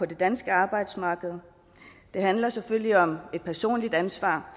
det danske arbejdsmarked det handler selvfølgelig om et personligt ansvar